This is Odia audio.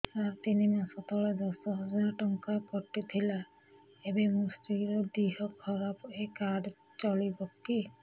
ସାର ତିନି ମାସ ତଳେ ଦଶ ହଜାର ଟଙ୍କା କଟି ଥିଲା ଏବେ ମୋ ସ୍ତ୍ରୀ ର ଦିହ ଖରାପ ଏ କାର୍ଡ ଚଳିବକି